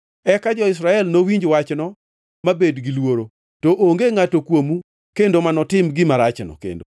Eka jo-Israel nowinj wachno mabed giluoro, to onge ngʼato kuomu kendo manotim gima rachno kendo.